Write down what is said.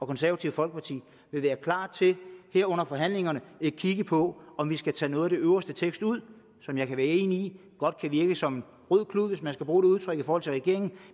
konservative folkeparti vil være klar til her under forhandlingerne at kigge på om vi skal tage noget af den øverste tekst ud som jeg er enig i godt kan virke som en rød klud hvis man kan bruge det udtryk i forhold til regeringen